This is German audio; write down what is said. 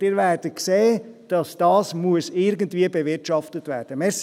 Und Sie werden sehen, dass dies irgendwie bewirtschaftet werden muss.